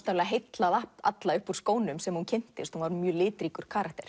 heillað alla upp úr skónum sem hún kynntist hún var mjög litríkur karakter